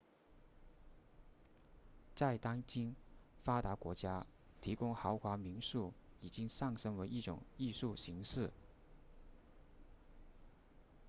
在当今发达国家提供豪华民宿已经上升为一种艺术形式